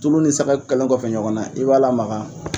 Tulu ni sɛkɛ kɛlen kɔfɛ ɲɔgɔn na, i b'a lamaka.